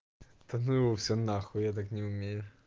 та ну его все нахуй я так не умею